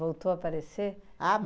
Voltou a aparecer? Ah